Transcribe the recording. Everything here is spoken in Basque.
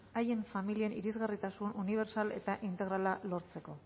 haien familien irisgarritasun unibertsal eta integrala lortzeko